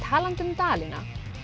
talandi um Dalina